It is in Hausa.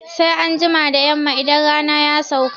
Anjima da Yamma idan rana ya sauka